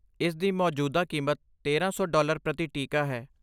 ਇਸ ਦੀ ਮੌਜੂਦਾ ਕੀਮਤ ਤੇਰਾਂ ਸੌ ਡਾਲਰ ਪ੍ਰਤੀ ਟੀਕਾ ਹੈ